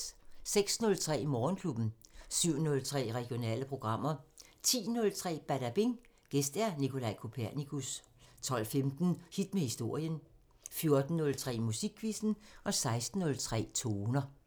06:03: Morgenklubben 07:03: Regionale programmer 10:03: Badabing: Gæst Nicolaj Kopernikus 12:15: Hit med historien 14:03: Musikquizzen 16:03: Toner